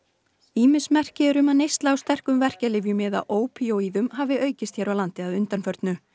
ýmis merki eru um að neysla á sterkum verkjalyfjum eða ópíóíðum hafi aukist hér á landi að undanförnu